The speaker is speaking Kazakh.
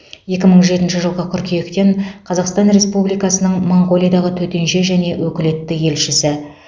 екі мың жетінші жылғы қыркүйектен қазақстан республикасының моңғолиядағы төтенше және өкілетті елшісі